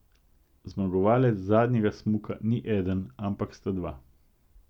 Zmagovalec zadnjega smuka ni eden, ampak sta dva.